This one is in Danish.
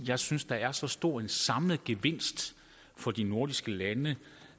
jeg synes der er så stor en samlet gevinst for de nordiske lande